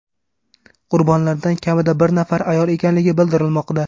Qurbonlardan kamida bir nafari ayol ekanligi bildirilmoqda.